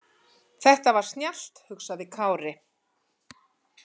Þetta var snjallt, hugsaði Kári.